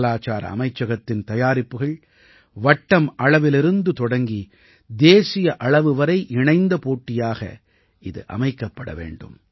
கலாச்சார அமைச்சகத்தின் தயாரிப்புகள் வட்டம் அளவிலிருந்து தொடங்கி தேசிய அளவு வரை இணைந்த போட்டியாக இது அமைக்கப்பட வேண்டும்